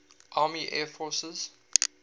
army air forces